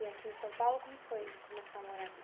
E aqui em São Paulo, como foi começar a morar aqui?